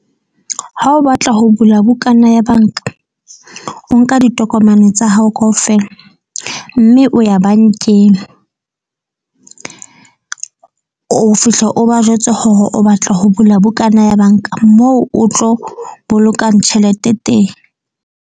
Ha o batla ho bula bukana ya banka, o nka ditokomane tsa hao kaofela. Mme o ya bankeng o fihla o ba jwetse hore o batla ho bula bukana ya banka moo o tlo bolokang tjhelete teng.